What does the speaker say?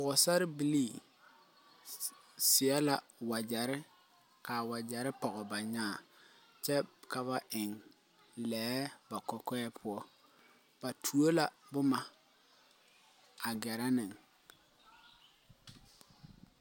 Pɔgsarre bilii seɛ la wajeri kaa wajeri pɔg ba nyaã kye ka ba en lɛɛ ba kɔkɔɛ pou ba tuo la buma a gɛrɛ ni.